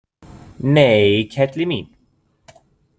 Nei, kelli mín!